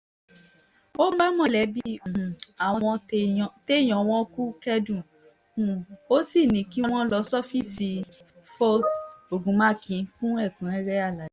ó bá mọ̀lẹ́bí um àwọn téèyàn wọn kú kẹ́dùn um ó sì ní kí wọ́n lọ sọfíìsì foss ogunmákun fún ẹ̀kúnrẹ́rẹ́ àlàyé